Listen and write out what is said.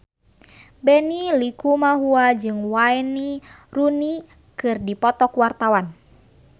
Benny Likumahua jeung Wayne Rooney keur dipoto ku wartawan